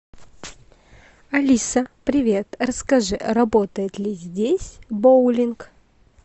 алиса привет расскажи работает ли здесь боулинг